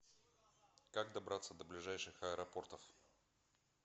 как добраться до ближайших аэропортов